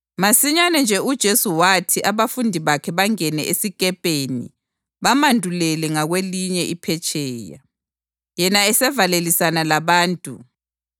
Masinyane nje uJesu wathi abafundi bakhe bangene esikepeni bamandulele ngakwelinye iphetsheya, yena esavalelisana labantu.